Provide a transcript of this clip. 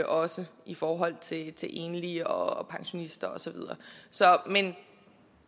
også i forhold til til enlige og pensionister og så videre men